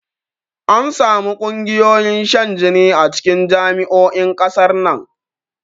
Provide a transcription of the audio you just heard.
Ansamu ƙungiyoyin shan jini a cikin jami'o'in ƙasar nan